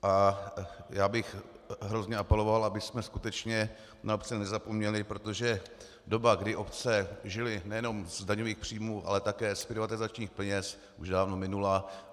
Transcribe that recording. A já bych hrozně apeloval, abychom skutečně na obce nezapomněli, protože doba, kdy obce žily nejenom z daňových příjmů, ale také z privatizačních peněz, už dávno minula.